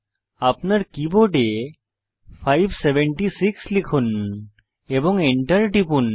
আপনার কীবোর্ডে 576 লিখুন এবং enter টিপুন